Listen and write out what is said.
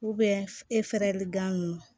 e fɛɛrɛli gan